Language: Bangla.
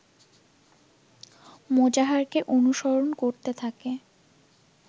মোজাহারকে অনুসরণ করতে থাকে